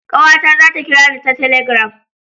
Kawata za ta kirani ta taligram